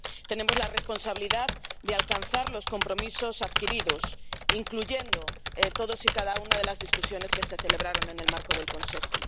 Tenemos la responsabilidad de alcanzar los compromisos adquiridos, incluyendo todas y cada una de las discusiones que se celebraron en el marco del Consejo.